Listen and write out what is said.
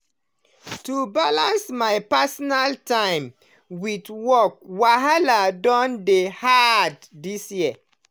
to balance my personal time with work wahala don dey harder this year.